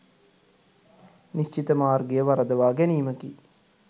නිශ්චිත මාර්ගය වරදවා ගැනීමකි.